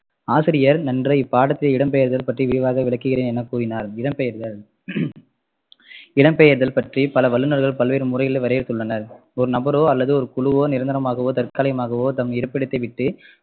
ஆசிரியர் இன்று இப்பாடத்தில் இடம்பெயர்தல் பற்றி விரிவாக விளக்குகிறேன் எனக்கூறினார் இடம்பெயர்தல் இடம்பெயர்தல் பற்றி பல வல்லுனர்கள் பல்வேறு முறைகளில் வரையறுத்துள்ளனர் ஒரு நபரோ அல்லது ஒரு குழுவோ நிரந்தரமாகவோ தற்காலிகமாகவோ தம் இருப்பிடத்தை விட்டு